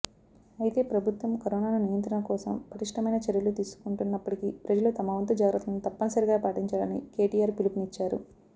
అయితే ప్రభుత్వం కరోనాను నియంత్రణకోసం పటిష్టమైన చర్యలు తీసుకుంటున్నప్పటికీ ప్రజలు తమవంతు జాగ్రతలను తప్పనిసరిగా పాటించాలని కెటిఆర్ పిలుపునిచ్చారు